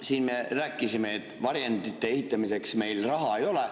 Siin me rääkisime, et varjendite ehitamiseks meil raha ei ole.